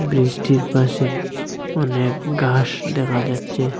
ব্রিজটির পাশে অনেক গাস দেখা যাচ্ছে।